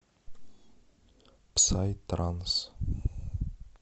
псай транс